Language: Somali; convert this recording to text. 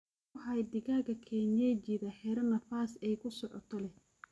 Ku hay digaaga kienyejidha xiro nafas aay kusocoto leeh.